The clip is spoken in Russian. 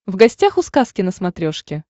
в гостях у сказки на смотрешке